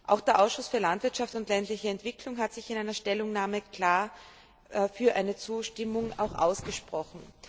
Auch der Ausschuss für Landwirtschaft und ländliche Entwicklung hat sich in einer Stellungnahme klar für eine Zustimmung ausgesprochen.